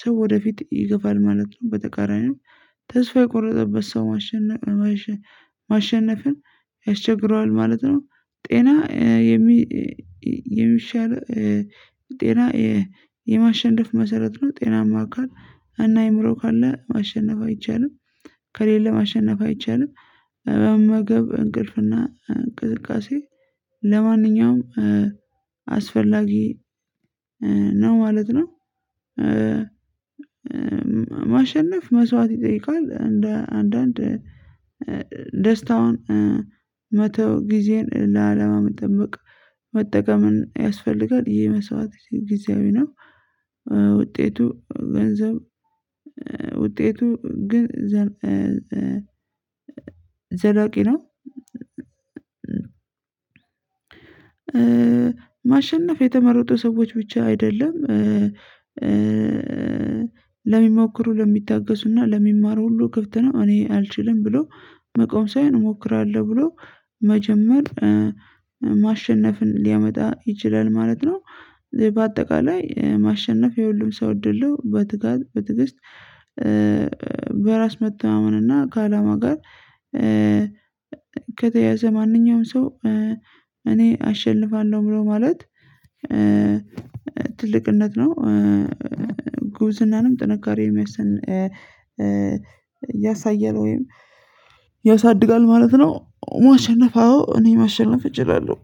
ሰው ወደፊት ይገፋል ማለት ነው። በተቃራኒው ተስፋ የቆረጠበት ሰው ማሸነፍ ማሸነፍን ያስቸግረዋል ማለት ነው። ጤና የሚሻል ጤና የማሸነፍ መሰረት ነው። ጤናማ አካል አና አእምሮ ካለ ማሸነፍ አይቻልም። ከሌለ ማሸነፍ አይቻልም። በመመገብ እንቅልፍና እንቅስቃሴ ለማንኛውም አስፈላጊ ነው ማለት ነው። ማሸነፍ መስዋዕት ይጠይቃል እንደ አንዳንድ ደስታውን መተው ጊዜን ለአላማ መጠበቅ መጠቀምን ያስፈልጋል ይሄ መስዋዕት ጊዜያዊ ነው። ውጤቱ ግን ዘላቂ ነው። ማሸነፍ የተመረጡ ሰዎች ብቻ አይደለም። ለሚሞክሩ ለሚታገሱና ለሚማሩ ሁሉ ክፍት ነው። እኔ አልችልም ብሎ መቆም ሳይሆን እሞክራለሁ ብሎ መጀመር ማሸነፍን ሊያመጣ ይችላል ማለት ነው። በአጠቃላይ ማሸነፍ የሁሉም ሰው እድል ነው። በትጋት በትግስት በራስ መተማመን እና ከአላማ ጋር ከተያያዘ ማንኛውም ሰው እኔ አሸልፋለሁ ብሎ ማለት ትልቅነት ነው። ጉብዝናንም ጥንካሬንም ያሳያል ወይም ያሳድጋል ማለት ነው። ማሸነፍ አዎ እኔ ማሸነፍ እችላለሁ